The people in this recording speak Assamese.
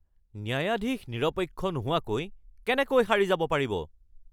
ন্যায়াধীশ নিৰপেক্ষ নোহোৱাকৈ কেনেকৈ সাৰি যাব পাৰিব?